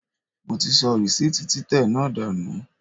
Mo ti sọ rìsíìtì títẹ̀ náà dànù.